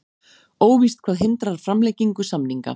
Óvíst hvað hindrar framlengingu samninga